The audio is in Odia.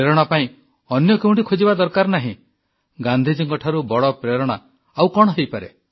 ପ୍ରେରଣା ପାଇଁ ଅନ୍ୟ କେଉଁଠି ଖୋଜିବା ଦରକାର ନାହିଁ ଗାନ୍ଧିଜୀଙ୍କଠାରୁ ବଡ଼ ପ୍ରେରଣା ଆଉ କଣ ହୋଇପାରେ